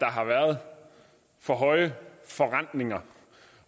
har været for høje forrentninger